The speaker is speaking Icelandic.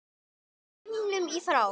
himnum í frá